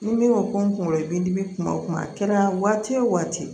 Ni min ko ko n kunkolo b'i dimi kuma o kuma a kɛra waati o waati